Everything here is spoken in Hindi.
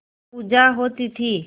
पूजा होती थी